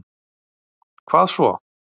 hvað svo?